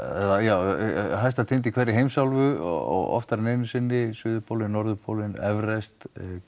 eða já á hæsta tind í hverri heimsálfu oftar en einu sinni suðurpólinn norðurpólinn Everest